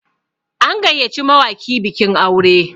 an gayyaci mawaki bikin aure